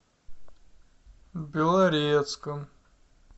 белорецком